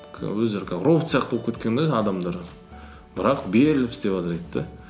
өздері как робот сияқты болып кеткен де адамдар бірақ беріліп істеватыр дейді де